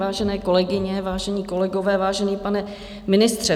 Vážené kolegyně, vážení kolegové, vážený pane ministře.